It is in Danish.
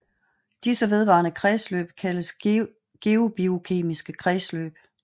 Disse vedvarende kredsløb kaldes geobiokemiske kredsløb